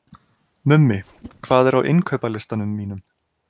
Mummi, hvað er á innkaupalistanum mínum?